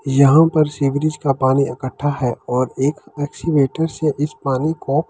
यहाँ पर sea bridge का पानी इकठ्ठा है और एक एक्सीवेटर से इस पानी को ।